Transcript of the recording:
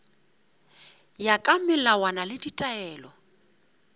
ya ka melawana le ditaelo